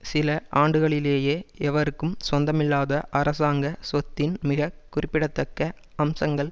சில ஆண்டுகளிலேயே எவருக்கும் சொந்தமில்லாத அரசாங்க சொத்தின் மிக குறிப்பிடத்தக்க அம்சங்கள்